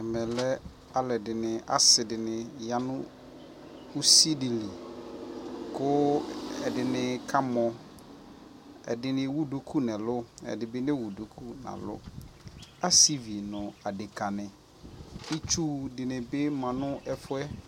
ɛmɛ lɛ alʋɛdini, asii dini yanʋ ʋsi dili kʋ ɛdini ka mɔ, ɛdini ɛwʋ dʋkʋ nʋ ɛlʋ, ɛdini bi nɛ wʋ dʋkʋ nʋ ɛlʋ, asiivi nʋadɛka ni, itsʋ dini bi manʋ ɛƒʋɛ